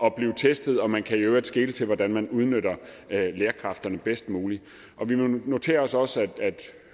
at blive testet og man kan i øvrigt skele til hvordan man udnytter lærerkræfterne bedst muligt vi noterer os også at